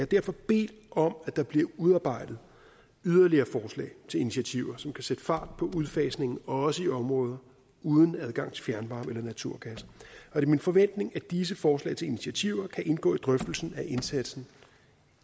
derfor bedt om at der bliver udarbejdet yderligere forslag til initiativer som kan sætte fart på udfasningen også i områder uden adgang til fjernvarme eller naturgas det er min forventning at disse forslag til initiativer kan indgå i drøftelsen af indsatsen